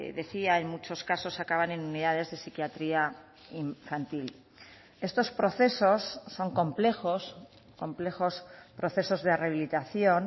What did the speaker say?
decía en muchos casos acaban en unidades de psiquiatría infantil estos procesos son complejos complejos procesos de rehabilitación